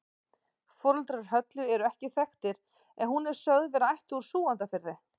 Foreldrar Höllu eru ekki þekktir en hún er sögð vera ættuð úr Súgandafirði.